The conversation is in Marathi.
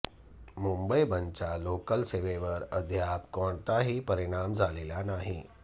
मुंबई बंदचा लोकल सेवेवर अद्याप कोणताही परिणाम झालेला नाही